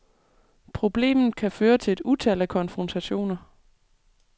Problemet kan føre til et utal af konfrontationer.